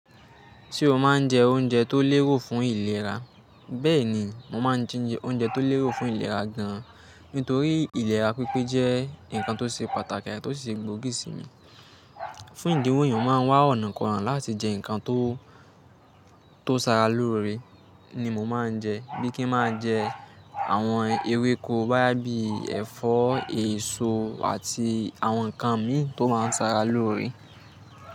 Ṣé o máa ń jẹ oúnjẹ tó lérò fún ìlera? Bẹ́ẹ̀ni, mo máa ń jẹ oúnjẹ tó lérò fún ìlera gan-an, nítorí ìlera pípé jẹ́ nǹkan tó ṣe pàtàkì àti tó si ṣe gbóògì sí mi. Fún ìdí un eeyàn máa ń wá ọ̀nàkona láti jẹ nǹkan tó, tó sara lóore ni mo máa ń jẹ. Bí i kí n máa jẹ àwọn ewéko boya bií ẹ̀fọ́, èso àti àwọn nǹkan mìí tó máa ń sara lóore.